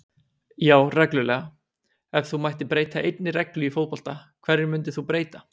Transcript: Já reglulega Ef þú mættir breyta einni reglu í fótbolta, hverju myndir þú breyta?